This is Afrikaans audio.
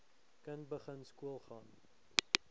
kind begin skoolgaan